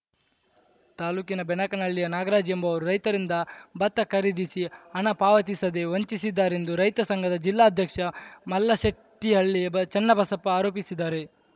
ತಾಲೂಕಿನ ಬೆನಕನಹಳ್ಳಿಯ ನಾಗರಾಜ್‌ ಎಂಬುವರು ರೈತರಿಂದ ಭತ್ತ ಖರೀದಿಸಿ ಹಣ ಪಾವತಿಸದೆ ವಂಚಿಸಿದ್ದಾರೆಂದು ರೈತ ಸಂಘದ ಜಿಲ್ಲಾಧ್ಯಕ್ಷ ಮಲ್ಲಶಟ್ಟಿಹಳ್ಳಿ ಬ ಚನ್ನಬಸಪ್ಪ ಆರೋಪಿಸಿದರು